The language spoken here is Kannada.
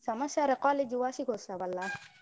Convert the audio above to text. ಸಮಾಚಾರ college ವಾರ್ಷಿಕೋತ್ಸವ ಅಲ್ಲಾ?